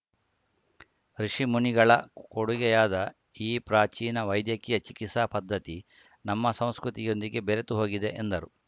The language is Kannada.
ಋುಷಿಮುನಿಗಳ ಕೊಡುಗೆಯಾದ ಈ ಪ್ರಾಚೀನ ವೈದ್ಯಕೀಯ ಚಿಕಿತ್ಸಾ ಪದ್ಧತಿ ನಮ್ಮ ಸಂಸ್ಕೃತಿಯೊಂದಿಗೆ ಬೆರೆತು ಹೋಗಿದೆ ಎಂದರು